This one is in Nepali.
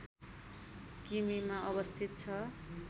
किमीमा अवस्थित छ